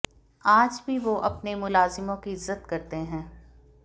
आज भी वो अपने मुलाजिमों की इज्जत करते हैं